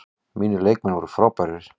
Mínir leikmenn voru frábærir.